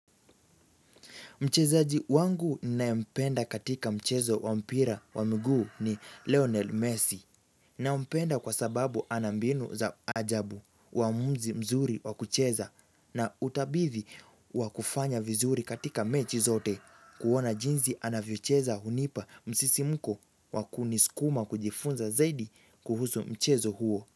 Mchezaji wangu naye mpenda katika mchezo wa mpira wa mguu ni Leonel Messi nampenda kwa sababu anambinu za ajabu wamuzi mzuri wa kucheza na utabidhi wa kufanya vizuri katika mechi zote kuona jinsi anavyocheza hunipa msisi mko wakunisukuma kujifunza zaidi kuhusu mchezo huo.